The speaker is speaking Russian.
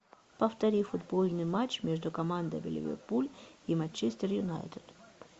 повтори футбольный матч между командами ливерпуль и манчестер юнайтед